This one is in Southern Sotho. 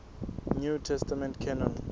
new testament canon